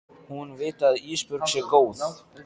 Hún viti að Ísbjörg sé góð.